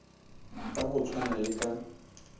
ka go tshwana le ka